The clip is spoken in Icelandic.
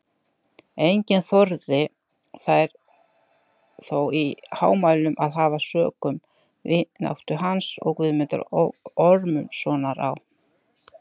Enginn þorði þær þó í hámælum að hafa sökum vináttu hans og Guðmundar Ormssonar á